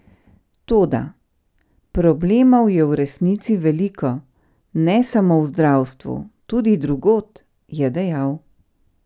Toda: "Problemov je v resnici veliko, ne samo v zdravstvu, tudi drugod," je dejal.